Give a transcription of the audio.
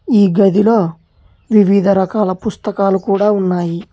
ఈ గదిలో వివిధ రకాల పుస్తకాలు కూడా ఉన్నాయి.